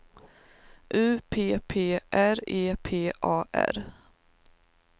U P P R E P A R